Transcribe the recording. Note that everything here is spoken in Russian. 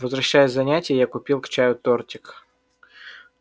возвращаясь с занятий я купил к чаю тортик